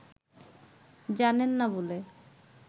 জানেন না বলে